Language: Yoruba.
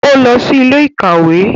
O lọ sí ilé-ìkawe